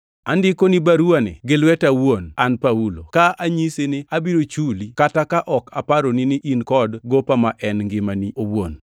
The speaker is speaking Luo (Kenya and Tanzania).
Andikoni baruwani gi lweta awuon an Paulo, ka anyisi ni abiro chuli, kata ka ok aparoni ni in kod gopa ma en ngimani owuon.